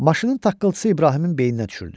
Maşının taqqıltısı İbrahimin beyninə düşürdü.